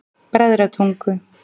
Bræðratungu